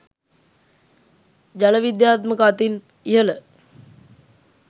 ජල විද්‍යාත්මක අතින් ඉහළ